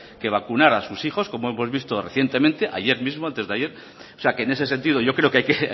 que vacunar a sus hijos como hemos visto recientemente ayer mismo antes de ayer o sea que en ese sentido yo creo que hay que